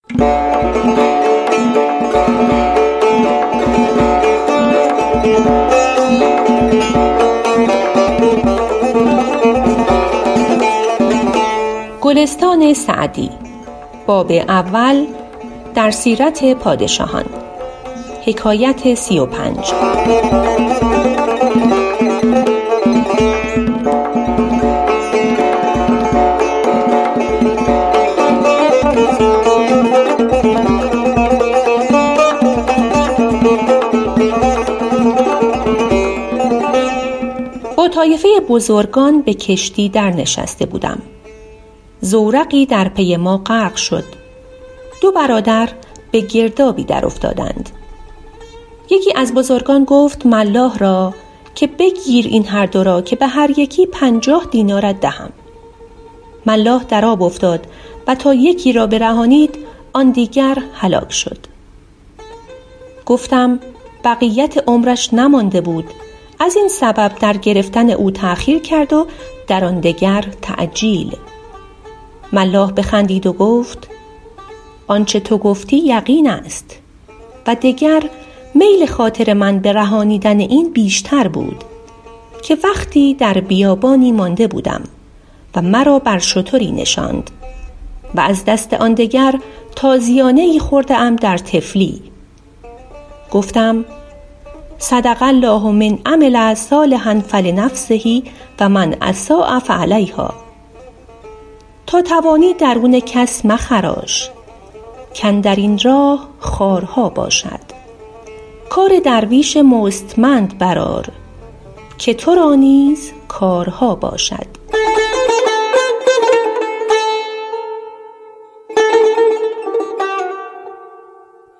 با طایفه بزرگان به کشتی در نشسته بودم زورقی در پی ما غرق شد دو برادر به گردابی در افتادند یکی از بزرگان گفت ملاح را که بگیر این هر دو را که به هر یکی پنجاه دینارت دهم ملاح در آب افتاد و تا یکی را برهانید آن دیگر هلاک شد گفتم بقیت عمرش نمانده بود از این سبب در گرفتن او تأخیر کرد و در آن دگر تعجیل ملاح بخندید و گفت آنچه تو گفتی یقین است و دگر میل خاطر من به رهانیدن این بیشتر بود که وقتی در بیابانی مانده بودم و مرا بر شتری نشاند و از دست آن دگر تازیانه ای خورده ام در طفلی گفتم صدق الله من عمل صالحا فلنفسه و من أساء فعلیهٰا تا توانی درون کس مخراش کاندر این راه خارها باشد کار درویش مستمند بر آر که تو را نیز کارها باشد